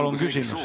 Palun küsimus!